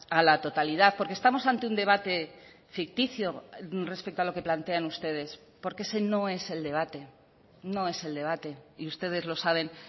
a la totalidad porque estamos ante un debate ficticio respecto a lo que plantean ustedes porque ese no es el debate no es el debate y ustedes lo saben